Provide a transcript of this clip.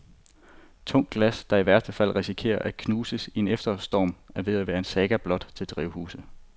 Tungt glas, der i værste fald risikerer at knuses i en efterårsstorm, er ved at være en saga blot til drivhuse.